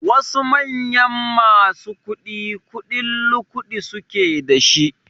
Wasu manyan masu kuɗi kuɗin lukuɗi suke da shi